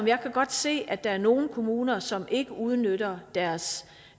jeg kan godt se at der er nogle kommuner som ikke udnytter deres